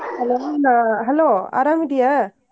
Hello ನ hello ಅರಾಮ್ ಇದ್ದೀಯಾ?